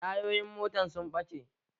Tayoyin motan sun ɓace